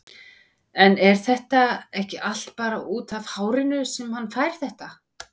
En er þetta ekki allt bara útaf hárinu sem hann fær þetta?